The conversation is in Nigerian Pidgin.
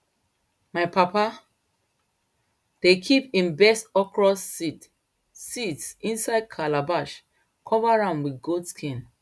my papa dey kip him best okro seeds seeds inside calabash cover am wit goat skin